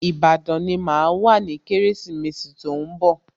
Ìbàdàn ni màá wà ní Kérésìmesì tí ó ń bọ̀